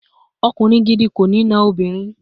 Okunrin gidi ko kin no obinrin